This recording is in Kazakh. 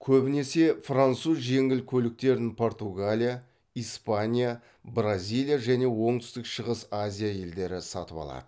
көбінесе француз жеңіл көліктерін португалия испания бразилия және оңтүстік шығыс азия елдері сатып алады